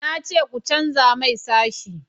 na ce ku canja mai sashi